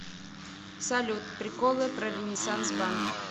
салют приколы про ренессанс банк